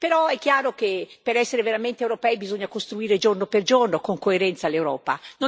Però è chiaro che per essere veramente europei bisogna costruire giorno per giorno, con coerenza, l'Europa.